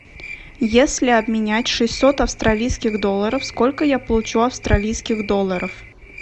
если обменять шестьсот австралийских долларов сколько я получу австралийских долларов